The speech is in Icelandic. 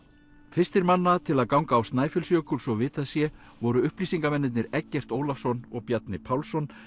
fyrstir manna til að ganga á Snæfellsjökul svo vitað sé voru Eggert Ólafsson og Bjarni Pálsson